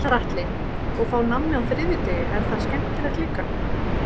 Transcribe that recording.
Gunnar Atli: Og fá nammi á þriðjudegi, er það skemmtilegt líka?